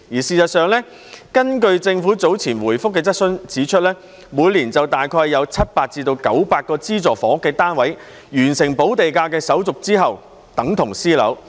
事實上，政府早前回覆質詢時指出，每年大約有700至900個資助房屋單位在完成補地價手續後等同私樓。